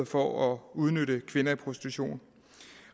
for at udnytte kvinder i prostitution